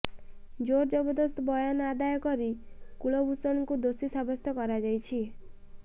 ଜୋର ଜବରଦସ୍ତ ବୟାନ ଆଦାୟ କରି କୁଲଭୂଷଣଙ୍କୁ ଦୋଷୀ ସାବ୍ୟସ୍ତ କରାଯାଇଛି